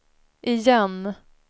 igen